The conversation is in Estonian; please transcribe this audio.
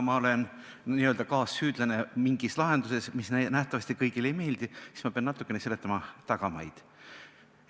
Kuna ma olen n-ö kaassüüdlane mingis lahenduses, mis nähtavasti kõigile ei meeldi, siis ma pean natukene selgitama tagamaid.